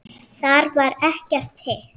Þar var ekkert hik.